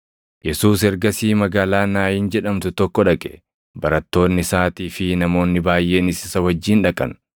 Yesuus ergasii magaalaa Naayin jedhamtu tokko dhaqe; barattoonni isaatii fi namoonni baayʼeenis isa wajjin dhaqan.